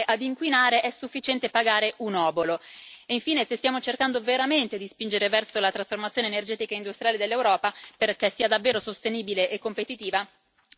ovvero per continuare ad inquinare è sufficiente pagare un obolo e, infine, se stiamo cercando veramente di spingere verso la trasformazione energetica industriale dell'Europa, perché sia davvero sostenibile e competitiva,